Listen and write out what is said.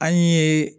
An ye